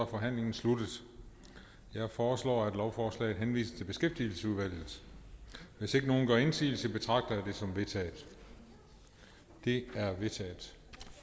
forhandlingen sluttet jeg foreslår at lovforslaget henvises til beskæftigelsesudvalget hvis ingen gør indsigelse betragter jeg det som vedtaget det er vedtaget